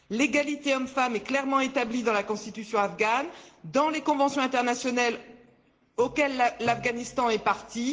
L'égalité homme femme est clairement établie dans la constitution afghane et dans les conventions internationales auxquelles l'Afghanistan est partie.